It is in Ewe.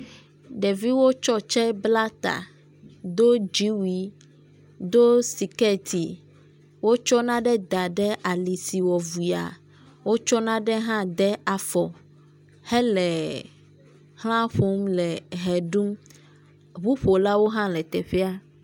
Ɖeviwo tsɔ tse bla ta, do dziwui, do skɛti. Wotsɔ nane da ɖe ali si wɔ vuyaa, wotsɔ nane hã de afɔ hele xla ƒom le ʋe ɖum, ŋuƒolawo hã le teƒea.